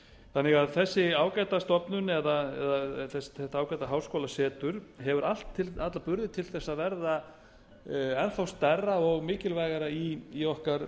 þannig að þessi ágæta stofnun eða þetta ágæta háskólasetur hefur alla burði til að verða enn þá stærra og mikilvægara í okkar